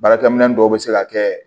Baarakɛminɛn dɔw bɛ se ka kɛ